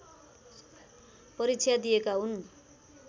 परीक्षा दिएका हुन्